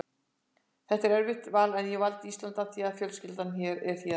Þetta var erfitt val en ég valdi Ísland af því að fjölskyldan er héðan.